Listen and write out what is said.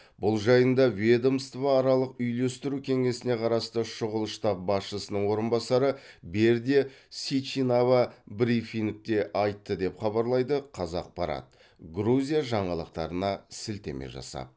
бұл жайында ведомствоаралық үйлестіру кеңесіне қарасты шұғыл штаб басшысының орынбасары бердия сичинава брифингте айтты деп хабарлайды қазақпарат грузия жаңалықтарына сілтеме жасап